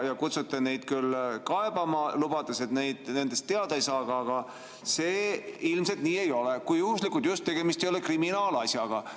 Te kutsute neid kaebama, lubades, et nendest teada ei saada, aga see ilmselt nii ei ole, kui juhuslikult just tegemist ei ole kriminaalasjaga.